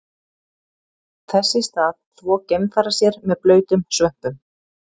Þess í stað þvo geimfarar sér með blautum svömpum.